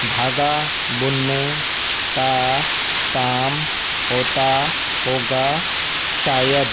धागा बुनने का काम होता होगा शायद।